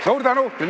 Suur tänu!